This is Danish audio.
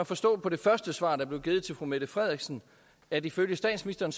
forstå på det første svar der blev givet til fru mette frederiksen at ifølge statsministeren